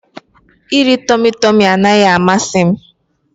Iri Tọmị Tọmị anaghị amasị m.